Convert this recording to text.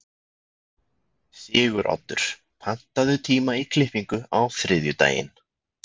Siguroddur, pantaðu tíma í klippingu á þriðjudaginn.